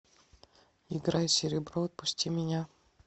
играй серебро отпусти меня